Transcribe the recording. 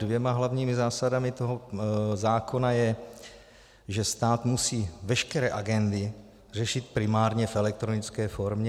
Dvěma hlavními zásadami toho zákona je, že stát musí veškeré agendy řešit primárně v elektronické formě.